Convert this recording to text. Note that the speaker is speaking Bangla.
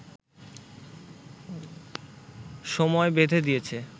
সময় বেধে দিয়েছে